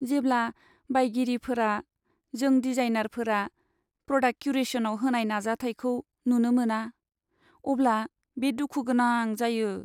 जेब्ला बायगिरिफोरा जों डिजाइनारफोरा प्रडाक्ट क्यूरेशनआव होनाय नाजाथायखौ नुनो मोना, अब्ला बे दुखु गोनां जायो।